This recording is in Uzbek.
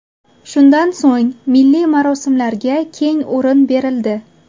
Shundan so‘ng milliy marosimlarga keng o‘rin berildi.